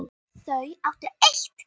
Þau áttu eitt barn.